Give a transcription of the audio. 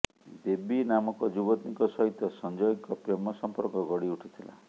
baby ନାମକ ଯୁବତୀଙ୍କ ସହିତ ସଂଜୟଙ୍କ ପ୍ରେମ ସମ୍ପର୍କ ଗଢ଼ି ଉଠିଥିଲା